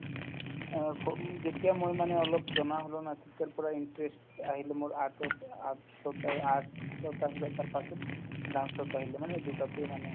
অ, সৰু যেতিয়া মই মানে অলপ জনা হ'লো না তেতিয়াৰ পৰাই interest আহিলে মোৰ art ৰ পৰা art ৰ পাই art art ত আহিলে তাৰপাছত dance ত আহিলে মানে দুয়োটাতে মানে